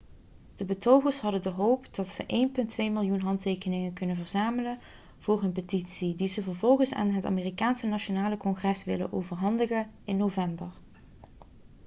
de betogers hebben de hoop dat ze 1,2 miljoen handtekeningen kunnen verzamelen voor hun petitie die ze vervolgens aan het amerikaanse nationale congres willen overhandigen in november